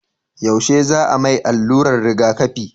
yaushe za a mai alluran rigaƙafi?